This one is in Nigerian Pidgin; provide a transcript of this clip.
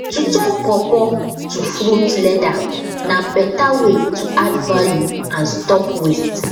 to turn pawpaw to fruit leather na better way to add value and stop waste